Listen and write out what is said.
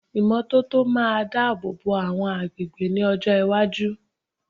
Ìmọ́tótó máa dábòbò àwọn agbègbè ní ọjọ́ iwájú.